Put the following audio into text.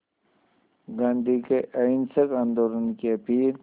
गांधी के अहिंसक आंदोलन की अपील